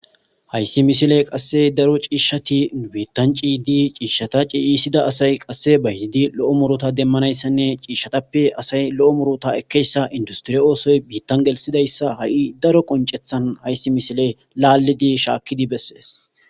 Hayssi misile qasse daro ciishshati biittan ciydi ciishshata ciiyiisida asay qasse ba hizidi lo7o murota demmanayssanne ciishshatappe asay lo7o murota ekkeyssa industriye oosoy biittan gelsidayssa ha7i daro qoncethan hayssi misile laallidi shaakkidi bessees.